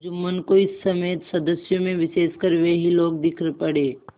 जुम्मन को इस समय सदस्यों में विशेषकर वे ही लोग दीख पड़े